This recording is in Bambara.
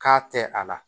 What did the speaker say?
K'a tɛ a la